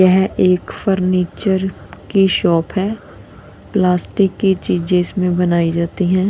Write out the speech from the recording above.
यह एक फर्नीचर की शॉप है प्लास्टिक की चीजे इसमें बनाई जाती है।